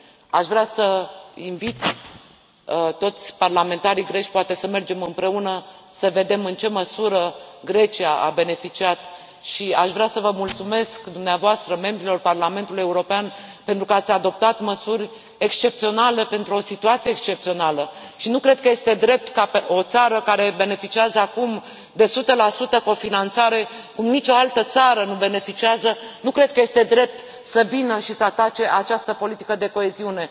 Aș vrea să invit toți parlamentarii greci, poate să mergem împreună să vedem în ce măsură Grecia a beneficiat și aș vrea să vă mulțumesc dumneavoastră, membrilor Parlamentului European, pentru că ați adoptat măsuri excepționale pentru o situație excepțională și nu cred că este drept ca o țară care beneficiază acum de 100 cofinanțare, cum nici o altă țară nu beneficiază, nu cred că este drept să vină și să atace această politică de coeziune!